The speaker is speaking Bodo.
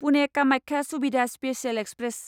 Pune Kamakhya Suvidha special express